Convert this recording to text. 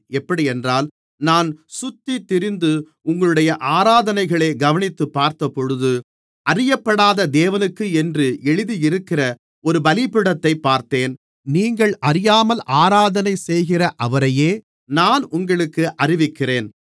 எப்படியென்றால் நான் சுற்றித்திரிந்து உங்களுடைய ஆராதனைகளை கவனித்துப் பார்த்தபொழுது அறியப்படாத தேவனுக்கு என்று எழுதியிருக்கிற ஒரு பலிபீடத்தைப் பார்த்தேன் நீங்கள் அறியாமல் ஆராதனை செய்கிற அவரையே நான் உங்களுக்கு அறிவிக்கிறேன்